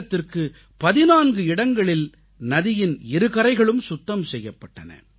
நீளத்திற்கு 14 இடங்களில் நதியின் இரு கரைகளும் சுத்தம் செய்யப்பட்டன